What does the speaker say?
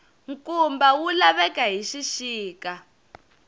nkumba wu laveka hi xixika